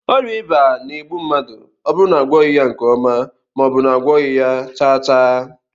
Oria iba na- egbu mmadu oburu na agwoghi ya nke oma, maobu na agwoghi ya chaa chaa